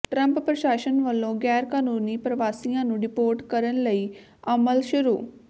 Trump ਪ੍ਰਸ਼ਾਸਨ ਵੱਲੋਂ ਗੈਰਕਾਨੂੰਨੀ ਪ੍ਰਵਾਸੀਆਂ ਨੂੰ ਡਿਪੋਰਟ ਕਰਨ ਲਈ ਅਮਲ ਸ਼ੁਰੂ